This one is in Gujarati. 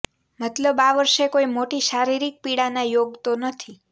મતલબ આ વર્ષે કોઈ મોટી શારીરિક પીડાના યોગ તો નથી